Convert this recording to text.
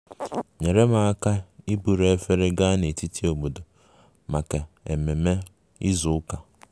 enyere m aka iburu efere gaa n'etiti obodo maka ememe izu ụka